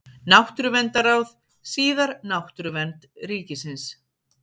Náttúruverndarráð, síðar Náttúruvernd ríkisins.